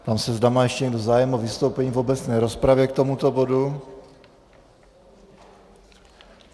Ptám se, zda má ještě někdo zájem o vystoupení v obecné rozpravě k tomuto bodu.